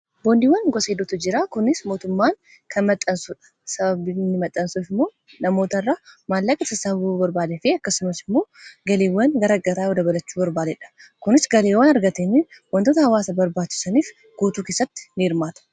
Boondiiwwan gosoota hedduutu jiraa. kunis mootummaan kan maxxansu sababni maxxansuuf immoo namoota irra maallaaqa sassaabuun bu'aa barbaadee fi akkasumas immoo galiiwwan garaagaraa yoo dabalachuu barbaadeedha. kunis galiiwwan argateen wantoota hawaasa barbaachusaniif guutuu keessatti ni hirmaata.